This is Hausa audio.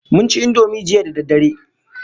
Mun ci Indomie jiya da daddare